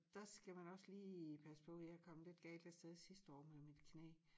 Dér skal man også lige passe på jeg kom lidt galt afsted sidste år med mit knæ